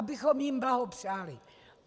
Abychom jim blahopřáli.